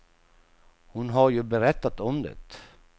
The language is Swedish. Hon har ju berättat om det.